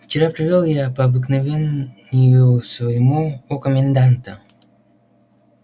вчера провёл я по обыкновению своему у коменданта